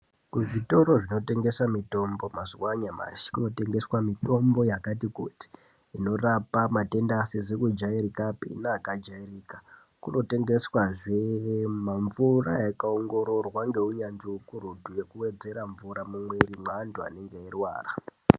Kuzvitoro zvino tengesa mitombo mazuwa anyamashi kuno tengeswa mitombo yakati kuti inorapa matenda asizi kujairikapi neaka jairika. Kuno tengeswa zve mamvura yaka ongororwa ngeunyanzvi ukurutu yekuwedzera mvura mumwiri mweantu anenge eirwara.